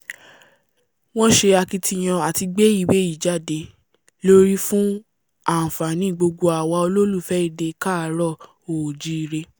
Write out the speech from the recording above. wọ́n ṣe akitiyan àti gbé ìwé yìí jáde lórí fún ànfàní gbogbo àwa olólùfẹ́ èdè káàárọ̀-oòjíire